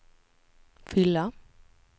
fylla